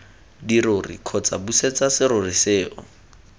dirori kgotsa busetsa serori seo